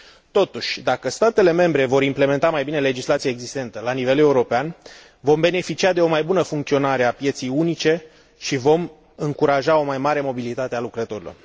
Totuși, dacă statele membre vor implementa mai bine legislația existentă la nivel european, vom beneficia de o mai bună funcționare a pieței unice și vom încuraja o mai mare mobilitate a lucrătorilor.